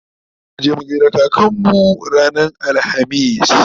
zamuje mu gaida kakanmu ranar alhamis